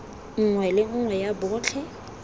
nngwe le nngwe ya botlhe